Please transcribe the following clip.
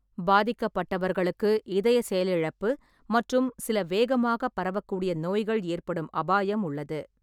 பாதிக்கப்பட்டவர்களுக்கு இதய செயலிழப்பு மற்றும் சில வேகமாகப் பரவக்கூடிய நோய்கள் ஏற்படும் அபாயம் உள்ளது.